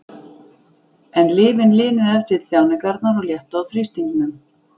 En lyfin linuðu ef til vill þjáningarnar og léttu á þrýstingnum.